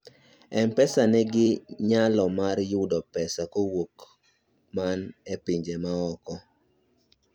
mpesa ni gi nyalo mar yudo pesa kowuok jok man e pinje maoko